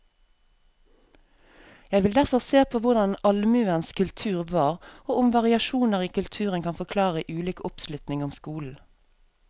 Jeg vil derfor se på hvordan allmuens kultur var, og om variasjoner i kulturen kan forklare ulik oppslutning om skolen.